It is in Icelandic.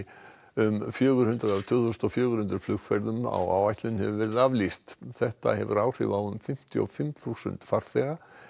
um fjögur hundruð af tvö þúsund og fjögur hundruð flugferðum á áætlun hefur verið aflýst þetta hefur áhrif á um fimmtíu og fimm þúsund farþega